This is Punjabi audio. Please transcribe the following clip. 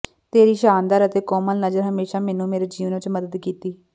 ਤੇਰੀ ਸ਼ਾਨਦਾਰ ਅਤੇ ਕੋਮਲ ਨਜ਼ਰ ਹਮੇਸ਼ਾ ਮੈਨੂੰ ਮੇਰੇ ਜੀਵਨ ਵਿਚ ਮਦਦ ਕੀਤੀ